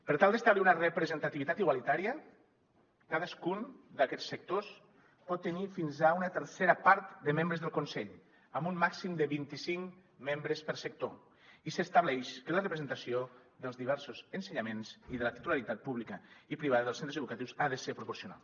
per tal d’establir una representativitat igualitària cadascun d’aquests sectors pot tenir fins a una tercera part de membres del consell amb un màxim de vint i cinc membres per sector i s’estableix que la representació dels diversos ensenyaments i de la titularitat pública i privada dels centres educatius ha de ser proporcional